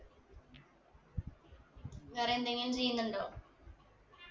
വേറെ എന്തെങ്കിലു ചെയ്യുന്നുണ്ടോ